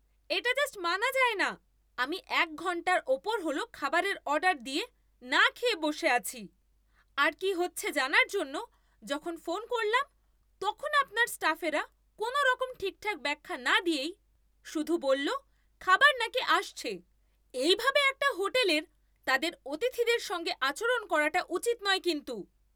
এই জাস্ট মানা যায় না। আমি এক ঘন্টার ওপর হল খাবারের অর্ডার দিয়ে না খেয়ে বসে আছি! আর কী হচ্ছে জানার জন্য যখন ফোন করলাম তখন আপনার স্টাফেরা কোনোরকম ঠিকঠাক ব্যাখ্যা না দিয়েই শুধু বলল খাবার নাকি আসছে! এইভাবে একটা হোটেলের তাদের অতিথিদের সঙ্গে আচরণ করাটা উচিত নয় কিন্তু।